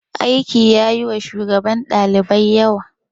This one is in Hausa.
Aiki yayi wa shugaban ɗalibai yawa.